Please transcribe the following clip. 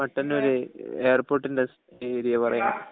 മട്ടന്നൂർ എയർപോർട്ട്ന്റടുത്തു ഏരിയ കൊറേ ഉണ്ട്